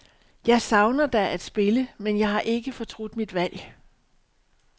Jeg savner da at spille, men jeg har ikke fortrudt mit valg.